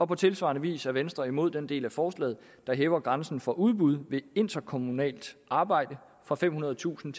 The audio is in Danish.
på tilsvarende vis er venstre imod den del af forslaget der hæver grænsen for udbud ved interkommunalt arbejde fra femhundredetusind